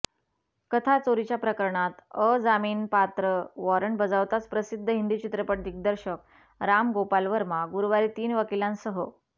कथाचोरीच्या प्रकरणात अजामीनपात्र वॉरंट बजावताच प्रसिद्ध हिंदी चित्रपट दिग्दर्शक रामगोपाल वर्मा गुरुवारी तीन वकिलांसह